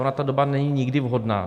Ona ta doba není nikdy vhodná.